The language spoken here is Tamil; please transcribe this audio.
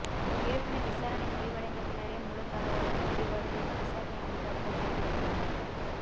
இருப்பினும் விசாரணை முடிவடைந்த பின்னரே முழு தகவலும் வெளிவரும் என விசாரணை அதிகாரிகள் தெரிவித்துள்ளனர்